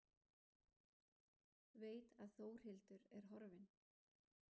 Veit að Þórhildur er horfin.